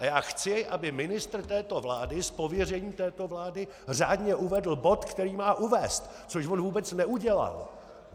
A já chci, aby ministr této vlády z pověření této vlády řádně uvedl bod, který má uvést!, což on vůbec neudělal.